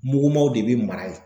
Mugumaw de be mara ye.